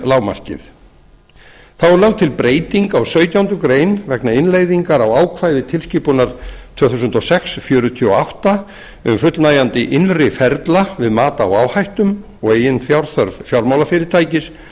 lágmarkið þá er lögð til breyting á sautjándu grein vegna innleiðingar á ákvæði tilskipunar tvö þúsund og sex fjörutíu og átta um fullnægjandi innri ferla við mat á áhættum og eiginfjárþörf fjármálafyrirtækis og